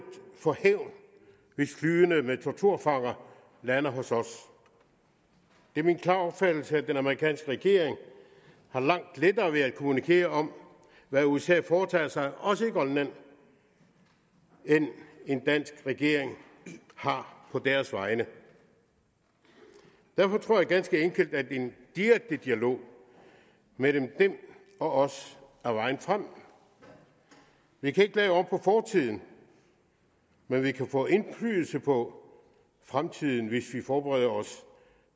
for hævn hvis flyene med torturfanger lander hos os det er min klare opfattelse at den amerikanske regering har langt lettere ved at kommunikere om hvad usa foretager sig også i grønland end en dansk regering har på deres vegne derfor tror jeg ganske enkelt at en direkte dialog mellem dem og os er vejen frem vi kan ikke lave om på fortiden men vi kan få indflydelse på fremtiden hvis vi forbereder os